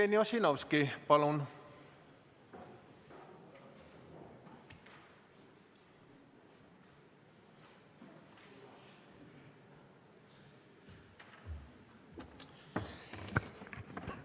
Jevgeni Ossinovski, palun!